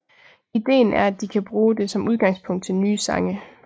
Ideen er at de kan bruge det som udgangspunkt til nye sange